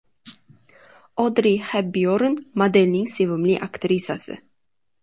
Odri Xepbyorn modelning sevimli aktrisasi.